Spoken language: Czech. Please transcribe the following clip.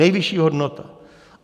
Nejvyšší hodnota!